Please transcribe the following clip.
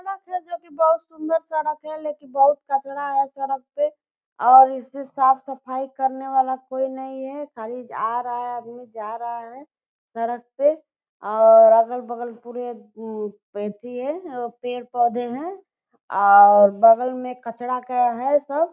सड़क है जोकि बहुत सुंदर सड़क है लेकिन बहुत कचरा है सड़क पे और इसकी साफ-सफई करने वाला कोई नही है खाली आ रहा है आदमी जा रहा है सड़क पे और अगल-बगल पूरे उम एथी है पेड़-पौधे हैं और बगल में कचरा का है सब।